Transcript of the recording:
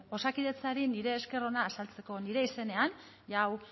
osakidetzari nire esker ona azaltzeko nire izenean jada hau